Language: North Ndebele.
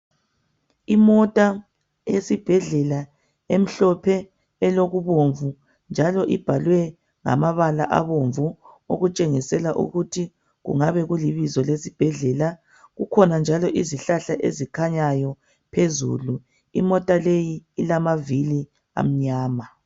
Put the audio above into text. Imota esibhedlela emhlophe elokubomvu njalo ibhalwe ngamabala abomvu okutshengisela ukuthi kungabe kulibizo lesibhedlela . Kukhona njalo izihlahla ezikhanyayo phezulu. imota leyi ilamavili amnyama.